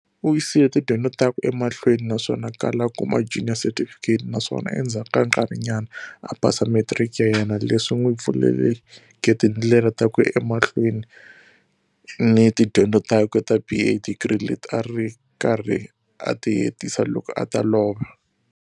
Uyisile tidyondzo takwe emahlweni naswona a kala a kuma Junior Certificate, naswona endzaku ka nkarhinyana apasa Matriki ya yena, leswi n'wi pfuleleke tindlela takuya emahleni hi tidyondzo takwe ta B.A Degree leti a ari karhi atihetisisa loko ata lova.